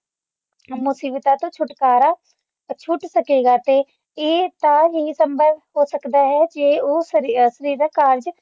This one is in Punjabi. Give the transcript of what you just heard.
ਮੁਸੀਬਤਾਂ ਤੋਂ ਛੁਟਕਾਰਾ ਛੋਟੀ ਸਕੇਗਾ ਤੇ ਇਹ ਤਾਂ ਹੀ ਸੰਭਵ ਹੋ ਸਕਦਾ ਹੈ ਉਹ ਫਰਿਆਦੀ ਦਾ ਕਾਰਜ